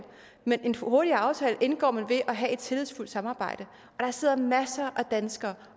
en hurtigere aftale indgår man ved at have et tillidsfuldt samarbejde og der sidder masser af danskere